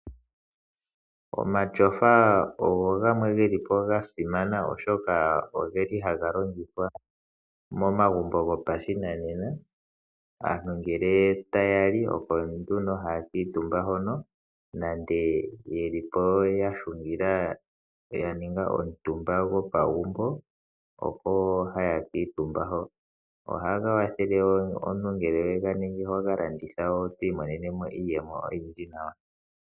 Omatyofa oga simanwa, oshoka ohaga longithwa momagumbo gopashinanena. Aantungele taya li oko nduno haya kuutumba hoka nenge ya hungila, ya ninga omutumba gwegumbo oko haya kuutumba hoka. Ohaga kwathele omuntu ngele owe ga ningi oho ga landitha to imonene mo iiyemo oyindji nawa.